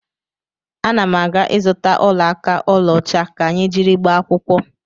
Ana m aga ịzụta ọla aka ọlaọcha ka anyị jiri gbaa akwụkwọ.